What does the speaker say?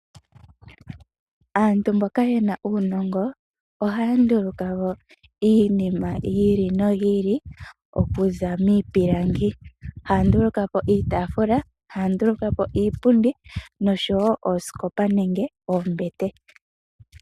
Aantu mboka yena uunongo ohanduluka woo iinima yayoloka okuza miipilangi .Ohaya nduluka iitafula ,iipundi nosho woo oosikopa nenge oombete.